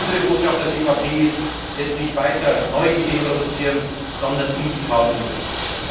Unsere Botschaft als EVP ist Jetzt nicht weiter neue Ideen produzieren, sondern in die Tat umsetzen!